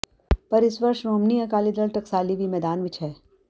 ਪਰ ਇਸ ਵਾਰ ਸ਼੍ਰੋਮਣੀ ਅਕਾਲੀ ਦਲ ਟਕਸਾਲੀ ਵੀ ਮੈਦਾਨ ਵਿੱਚ ਹੈ